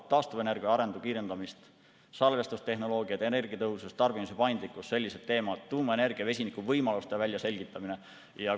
Taastuvenergia arengu kiirendamine, salvestustehnoloogiad, energiatõhusus, tarbimise paindlikkus ja sellised teemad nagu tuumaenergia ja vesiniku võimaluste väljaselgitamine.